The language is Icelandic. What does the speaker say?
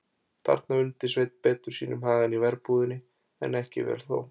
Þarna undi Sveinn betur sínum hag en í verbúðinni, en ekki vel þó.